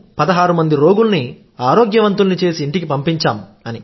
16మంది రోగుల్ని ఆరోగ్యవంతుల్ని చేసి ఇంటికి పంపించాం